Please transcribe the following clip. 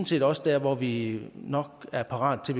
set også der hvor vi nok er parate til